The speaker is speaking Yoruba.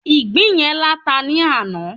ìgbín yen lata ni ana